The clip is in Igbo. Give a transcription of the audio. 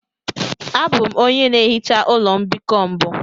Abụ m onye na-ehicha ụlọ mbikọ mbụ.